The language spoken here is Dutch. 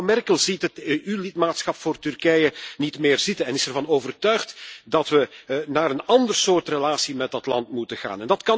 Zelfs mevrouw Merkel ziet het EU lidmaatschap voor Turkije niet meer zitten en is ervan overtuigd dat we naar een ander soort relatie met dat land moeten gaan.